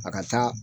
A ka taa